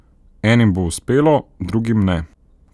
Enim bo uspelo, drugim ne.